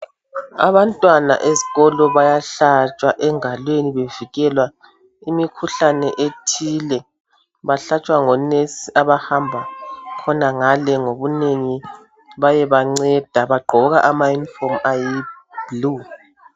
Abantwana ezikolo bayahlatshwa engalweni bevikela imikhuhlane ethile bahlatshwa ngomongikazi abahamba khonagale ngobunengi beyebanceda bagqoka ama uniform ayisibhakabhaka.